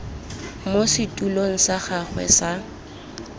mo setulong sa gagwe sa